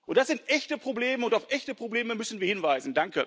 Das sind echte Probleme, und auf echte Probleme müssen wir hinweisen.